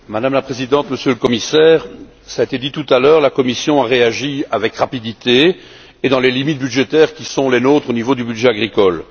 Madame la Présidente, Monsieur le Commissaire, cela a été dit tout à l'heure, la Commission a réagi avec rapidité et dans les limites budgétaires qui sont les nôtres au niveau du budget agricole.